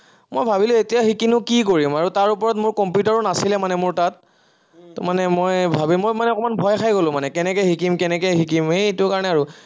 মই ভাবিলো এতিয়া শিকি নো কি কৰিম আৰু তাৰ ওপৰত কম্পিউটাৰো নাছিলে মানে মোৰ তাত ত, মই ভাবি, মই মানে অকমান ভয় খাই গলো মানে কেনেকে শিকিম, কেনেকে শিকিম এইটো কাৰনে আৰু